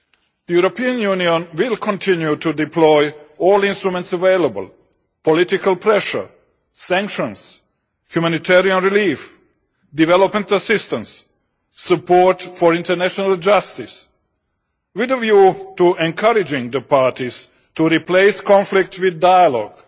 The European Union will continue to deploy all the instruments available political pressure, sanctions, humanitarian relief, development assistance, support for international justice with a view to encouraging the parties to replace conflict with dialogue,